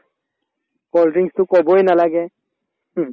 cold drinks তো কবয়ে নালাগে হুম